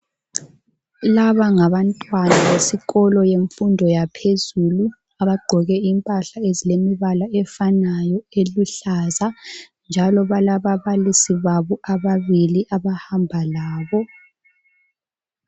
Laba ngabantwana besikolo, bemfundo yaphezulu. Abagqoke impahla ezilemibala efanayo, eluhlaza, njalo balababalisi babo ababili abahamba labo.